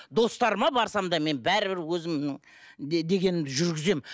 достарыма барсам да мен бәрібір өзімнің дегенімді жүргіземін